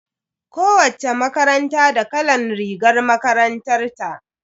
Kowacce makaranta da kalan rigar makarantar ta.